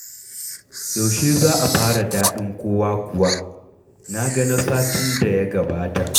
Yaushe za a fara Daɗin Kowa kuwa? Na ga na satin da ya gabata.